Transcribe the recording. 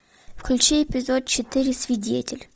включи эпизод четыре свидетель